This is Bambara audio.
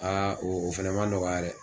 o fɛnɛ ma nɔgɔya dɛ.